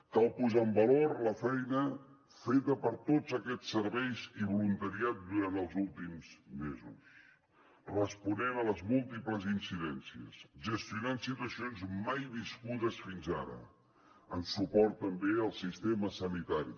cal posar en valor la feina feta per tots aquests serveis i voluntariat durant els últims mesos responent a les múltiples incidències gestionant situacions mai viscudes fins ara en suport també al sistema sanitari